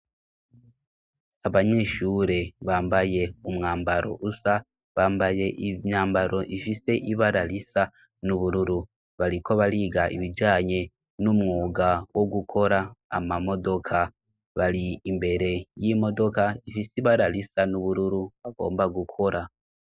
Abanyeshure bambaye umwambaro usa ; Bambaye imyambaro ifise ibara risa n'ubururu. Bariko bariga ibijanye n'umwuga wo gukora amamodoka. Bari imbere y'imodoka ifise ibara risa n'ubururu bagomba gukora.